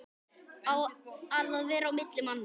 Að vera á milli manna!